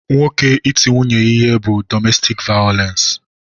Nwoke iti nwunye ya ihe bu dọmestik vayolensi.